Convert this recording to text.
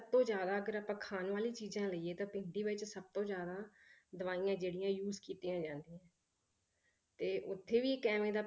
ਸਭ ਤੋਂ ਜ਼ਿਆਦਾ ਅਗਰ ਆਪਾਂ ਖਾਣ ਵਾਲੀ ਚੀਜ਼ਾਂ ਲਈਏ ਤਾਂ ਭਿੰਡੀ ਵਿੱਚ ਸਭ ਤੋਂ ਜ਼ਿਆਦ ਦਵਾਈਆਂ ਜਿਹੜੀਆਂ use ਕੀਤੀਆਂ ਜਾਂਦੀਆਂ ਤੇ ਉੱਥੇ ਵੀ ਇੱਕ ਇਵੇਂ ਦਾ